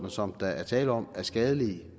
som der er tale om er skadelige